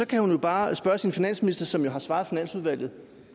kan hun jo bare spørge sin finansminister som har svaret finansudvalget